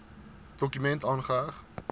dokument aangeheg